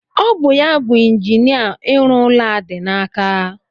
Ọ bụ ya bu injinia ịrụ ụlọ a dị n'aka.